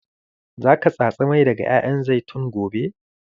Za ka tatsi mai daga ƴaƴan zaitun gobe?